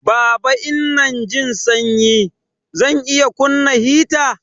Baba Inanjin sanyi. Zan iya kunna heater